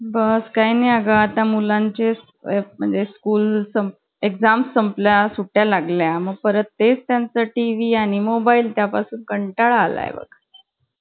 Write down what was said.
अरे खूप भारी आणि तेव्हा अभ्यास करायचा भूत एवढा डोक्यात असतो ना की, बाई नवीन पुस्तक घेईच कि ते वाचून पण, आपण त्या कविता वाचून काढा, परत परत धडे वाचून काढा.